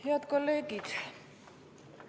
Head kolleegid!